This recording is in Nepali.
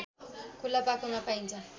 खुला पाखोमा पाइन्छ